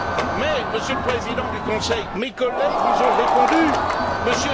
Mais, Monsieur le Président du conseil, mes collègues vous ont répondu. M.